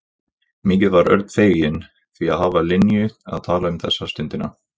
Mikið var Örn feginn því að hafa Linju að tala um þessa stundina.